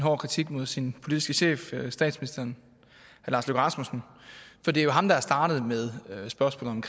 hård kritik mod sin politiske chef statsministeren for det er jo ham der er startet med spørgsmålet